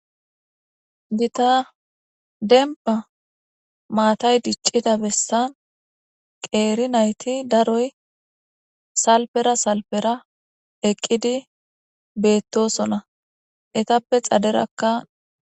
Dita demba maatay diccida bessan qeeri nayti daroy salpera salpera eqqidi beettosona etappe xaderakka.